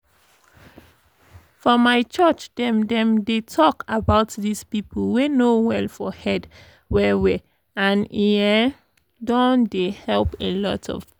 for my church dem dem dey talk about this people wey no well for head well well and e um don dey help alot of people.